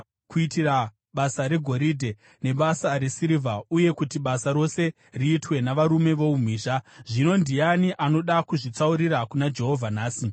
kuitira basa regoridhe, nebasa resirivha uye kuti basa rose riitwe navarume voumhizha. Zvino ndiani anoda kuzvitsaurira kuna Jehovha nhasi!”